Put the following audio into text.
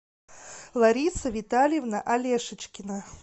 лариса витальевна алешечкина